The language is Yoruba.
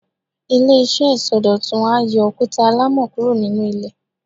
Ile-iṣẹ isọdọtun a yóò okuta alamọ kuro ninu ilè